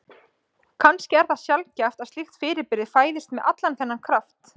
Kannski er það sjaldgæft að slíkt fyrirbrigði fæðist með allan þennan kraft.